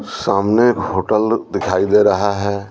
सामने होटल दिखाई दे रहा है।